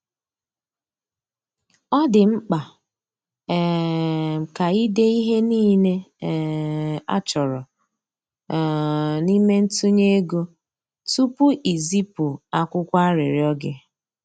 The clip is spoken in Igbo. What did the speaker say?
Ọ dị mkpa um ka i dee ihe niile um a chọrọ um n’ime ntụnye ego tupu i zipụ akwụkwọ arịrịọ gị.